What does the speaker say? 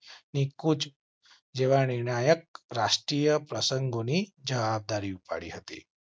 કુછ જેવા નિર્ણાયક રાષ્ટ્રીય પ્રસંગો ની જવાબદારી ઉપાડી હતી.